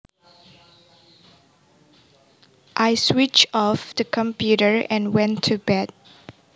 I switched off the computer and went to bed